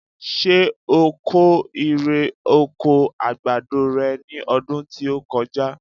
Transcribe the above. Ṣé o kó ire oko àgbàdo re ní ọdún tí ó kọjá?